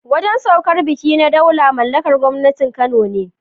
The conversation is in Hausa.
Wajen saukar baƙi na Daula mallakar gwangwanin Kano ne.